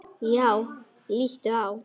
Já, líttu á.